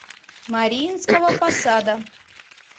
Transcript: мариинского посада